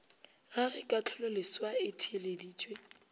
ga ge kahlololeswa e theeleditšwe